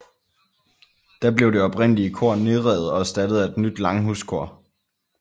Da blev det oprindelige kor nedrevet og erstattet af et nyt langhuskor